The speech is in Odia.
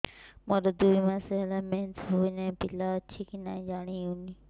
ମୋର ଦୁଇ ମାସ ହେଲା ମେନ୍ସେସ ହୋଇ ନାହିଁ ପିଲା ଅଛି କି ନାହିଁ ଜାଣି ହେଉନି